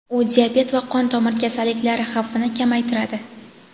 u diabet va qon tomir kasalliklari xavfini kamaytiradi.